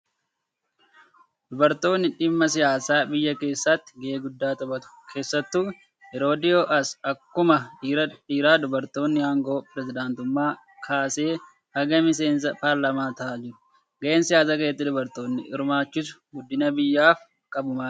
Dubartoonni dhimma siyaasa biyyaa keessatti gahee guddaa taphatu. Keessattuu yeroo dhiyoo as akkuma dhiiraa dubartoonni aangoo pirezedaantummaa kaasee haga miseensa paarlaamaa ta'aa jiru. Gaheen siyaasa keessatti dubartoota hirmaachisuu guddina biyyaaf qabu maali?